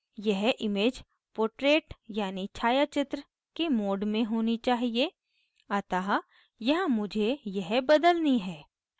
यह image portrait यानी छायाचित्र के mode में होनी चाहिए अतः यहाँ मुझे यह बदलनी है